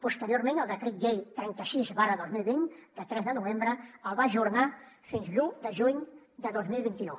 posteriorment el decret llei trenta sis dos mil vint de tres de novembre el va ajornar fins l’un de juny de dos mil vint u